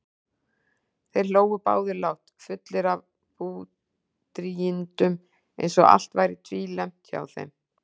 Þeir hlógu báðir lágt, fullir af búdrýgindum eins og allt væri tvílembt hjá þeim.